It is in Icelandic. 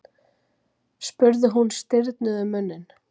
spurði hún stirðnuð um munninn.